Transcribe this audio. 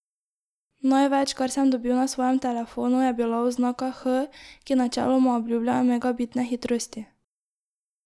Največ, kar sem dobil na svojem telefonu, je bila oznaka H, ki načeloma obljublja megabitne hitrosti.